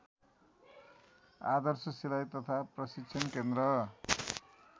आदर्श सिलाई तथा प्रशिक्षण केन्द्र